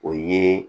O ye